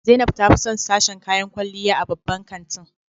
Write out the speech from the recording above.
Zainab ta fi son sashen kayan kwalliya a babban kantin.